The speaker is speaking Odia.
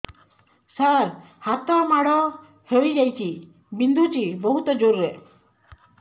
ସାର ହାତ ମାଡ଼ ହେଇଯାଇଛି ବିନ୍ଧୁଛି ବହୁତ ଜୋରରେ